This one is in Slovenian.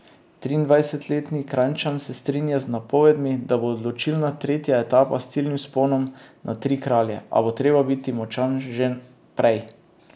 Triindvajsetletni Kranjčan se strinja z napovedmi, da bo odločilna tretja etapa s ciljnim vzponom na Tri Kralje, a bo treba biti močan že prej.